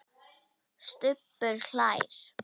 Stubbur hlær.